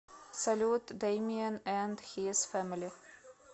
салют деймиэн энд хиз фэмили